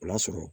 O y'a sɔrɔ